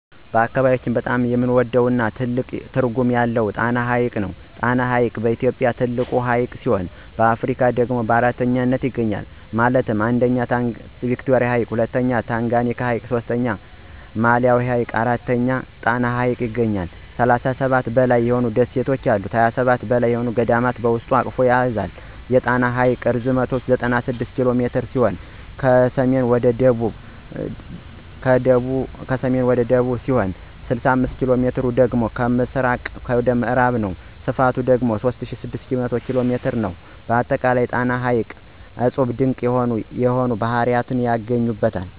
በአካባቢያችን በጣም የምንወደው እና ትልቅ ትርጉም ያለው ጣና ሐይቅ ነው። ጣና ሐይቅ በኢትዮጵያ ትልቁ ሀይቅ ሲሆን በአፍሪካ ደግሞ በአራተኛነት ይገኛል ማለትም 1ኛ ቪክቶሪያ 2ኛ ታንጋኒካ 3ኛ ማላዊ ሁኖ ይገኛል። ጣና ሐይቅ ከ37 በላይ ደሴት ሲኖሩት ከ27 በላይ ገዳማት በውስጡ አቅፎ ይዞል። የጣና ሐይቅ ርዝመት 96 ኪ.ሜ ከሰሜን እስከ ደቡብ ሲሆን 65ኪ.ሜ ደግሞ ከምዕራብ እስከ ምስራቅ ነው። ስፍቱ ደግሞ 3600 ስኩየር ኪ.ሜ ነው። በአጠቃላይ ጣና ሐይቅ እፁብና ድንቅ የሆኑ ባህርያቶች ይገኙበታል።